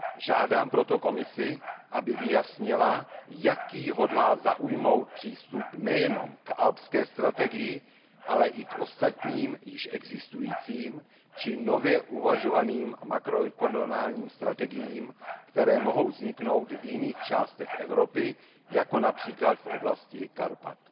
Žádám proto Komisi, aby vyjasnila, jaký hodlá zaujmout přístup nejenom k alpské strategii, ale i k ostatním již existujícím či nově uvažovaným makroregionálním strategiím, které mohou vzniknout v jiných částech Evropy jako například v oblasti Karpat.